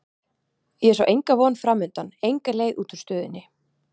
Ég sá enga von framundan, enga leið út úr stöðunni.